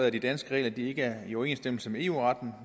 at de danske regler ikke er i overensstemmelse med eu retten